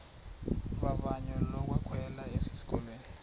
vavanyo lokwamkelwa esikolweni